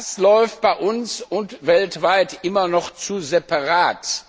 Das läuft bei uns und weltweit immer noch zu separat.